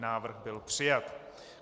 Návrh byl přijat.